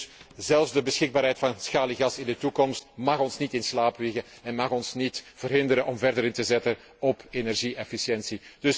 Dus zelfs de beschikbaarheid van schaliegas in de toekomst mag ons in niet in slaap wiegen en mag ons niet verhinderen om verder in te zetten op energie efficiëntie.